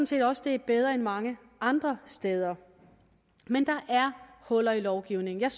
set også det er bedre end mange andre steder men der er huller i lovgivningen jeg